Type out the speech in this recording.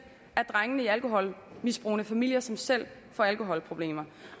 af drengene i alkoholmisbrugende familier som selv får alkoholproblemer